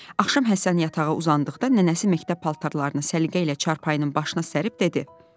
Axşam Həsən yatağa uzandıqda nənəsi məktəb paltarlarını səliqə ilə çarpayının başına sərib dedi: